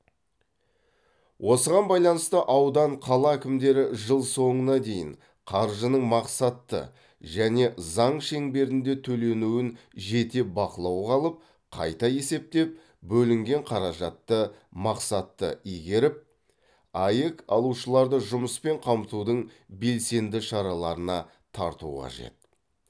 осыған байланысты аудан қала әкімдері жыл соңына дейін қаржының мақсатты және заң шеңберінде төленуін жете бақылауға алып қайта есептеп бөлінген қаражатты мақсатты игеріп аәк алушыларды жұмыспен қамтудың белсенді шараларына тарту қажет